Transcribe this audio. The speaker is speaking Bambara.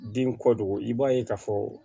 Den kɔ dogo i b'a ye k'a fɔ